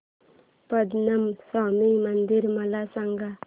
पद्मनाभ स्वामी मंदिर मला सांग